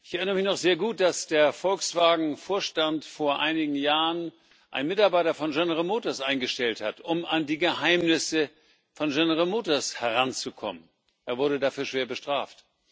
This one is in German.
Ich erinnere mich noch sehr gut, dass der Volkswagen Vorstand vor einigen Jahren einen Mitarbeiter von General Motors eingestellt hat, um an die Geheimnisse von General Motors heranzukommen. Er wurde dafür schwer bestraft.